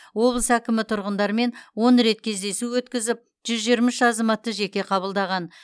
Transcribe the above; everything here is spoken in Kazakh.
облыс әкімі тұрғындармен он рет кездесу өткізіп жүз жиырма үш азаматты жеке қабылдаған